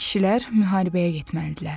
Kişilər müharibəyə getməlidirlər.